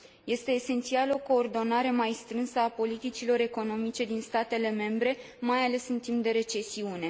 Este esențială o coordonare mai strânsă a politicilor economice din statele membre, mai ales în timp de recesiune.